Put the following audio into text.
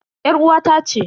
Yar uwata ce.